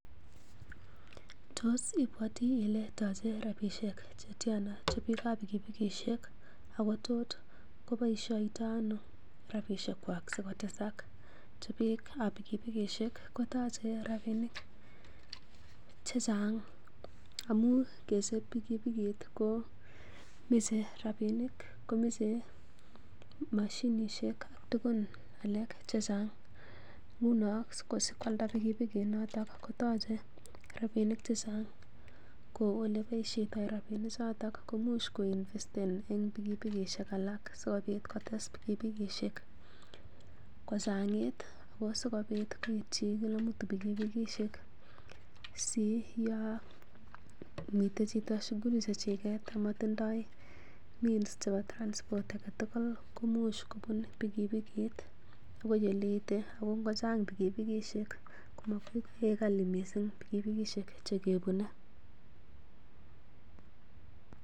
Tos ibwoti ile tachei rabisiek che tyana chobiikab pikipikisiek ako tot koboisioito ano rabisiekwak sikotesak? Biik ab pikipikisiek kotoche rabinik che chang amun kesich pikipikiit ko moche rabinik komoche mashinisiek tugun alak che chang. Nguno sikwalda pikipikinoto kotoche rabinik che chang kou oleboisioto rabinikchoto koimuch ko investen en pikipikishek alak sikomuch kotes pikipikishek kochang'it ago sikobit koityi kila mtu pikipikishek si yon miten chito shughuli che chiget amatindoi means chebo transport age tugul komuch kobun pikipikiit agoi ole ite. Ago ngochang pikipikishek komakoi kegany mising pikipikishek chekibune.